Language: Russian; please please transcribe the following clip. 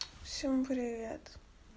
всем привет